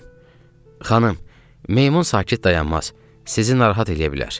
Xanım, meymun sakit dayanmaz, sizi narahat eləyə bilər.